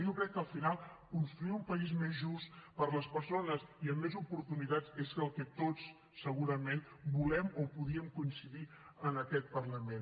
jo crec que al final construir un país més just per a les persones i amb més oportunitats és el que tots segurament volem o podíem coincidir en aquest parlament